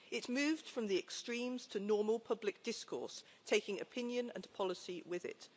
It moved from the extremes to normal public discourse taking opinion and policy with it.